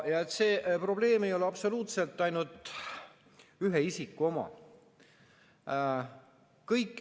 See probleem ei ole absoluutselt ainult ühe isiku oma.